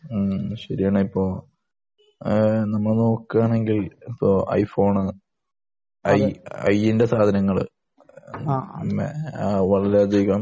ഉം ശരിയാണ് ഇപ്പൊ നമ്മൾ നോക്കാനെങ്കിൽ ഇപ്പൊ ഐ ഫോൺ ഐ ന്റെ സാധനങ്ങൾ വളരെയധികം